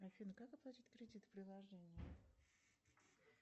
афина как оплатить кредит в приложении